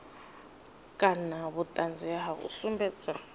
kana vhuṱanzi ha u sumbedza